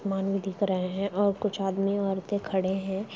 मानव दिख रहे है और कुछ आदमी औरतें खड़े है।